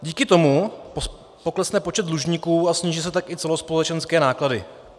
Díky tomu poklesne počet dlužníků a sníží se tak i celospolečenské náklady.